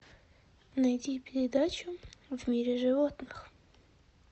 найди передачу в мире животных